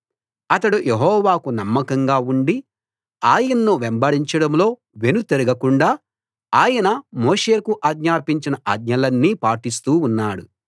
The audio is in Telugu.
అతడు యెహోవాకు నమ్మకంగా ఉండి ఆయన్ను వెంబడించడంలో వెనుతిరగకుండా ఆయన మోషేకు ఆజ్ఞాపించిన ఆజ్ఞలన్నీ పాటిస్తూ ఉన్నాడు